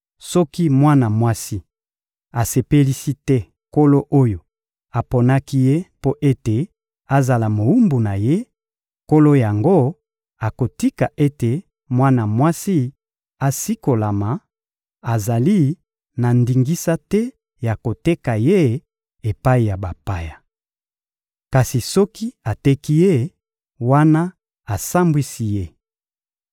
Soki mwana mwasi asepelisi te nkolo oyo aponaki ye mpo ete azala mowumbu na ye, nkolo yango akotika ete mwana mwasi asikolama; azali na ndingisa te ya koteka ye epai ya bapaya. Kasi soki ateki ye, wana asambwisi ye.